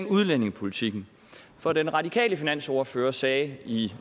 udlændingepolitikken for den radikale finansordfører sagde i